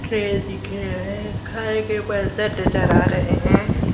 दिख रहा है खाए के बर्तन नजर आ रहे हैं।